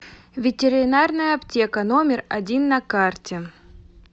ветеринарная аптека номер один на карте